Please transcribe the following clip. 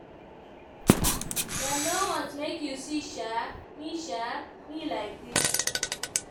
dem no want make you see um me um me like dis